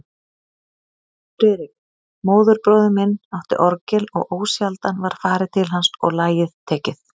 Friðrik, móðurbróðir minn, átti orgel og ósjaldan var farið til hans og lagið tekið.